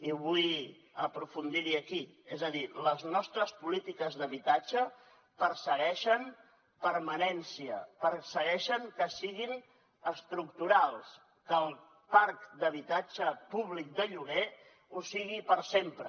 i vull aprofundir hi aquí és a dir les nostres polítiques d’habitatge persegueixen permanència persegueixen que siguin estructurals que el parc d’habitatge públic de lloguer ho sigui per sempre